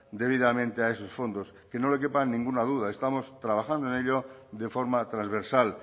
debidamente a esos fondos que no le quepa ninguna duda estamos trabajando en ello de forma transversal